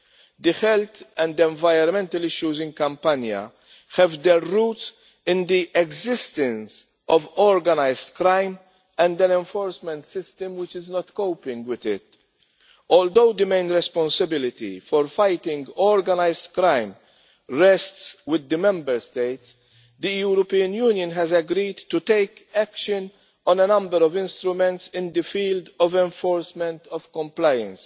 The health and the environmental issues in Campania have their roots in the existence of organised crime and an enforcement system which is not coping with it. Although the main responsibility for fighting organised crime rests with the Member States, the European Union has agreed to take action on a number of instruments in the field of enforcement of compliance.